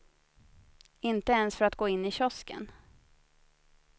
Inte ens för att gå in i kiosken.